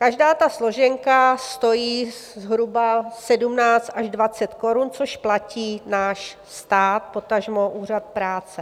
Každá ta složenka stojí zhruba 17 až 20 korun, což platí náš stát, potažmo Úřad práce.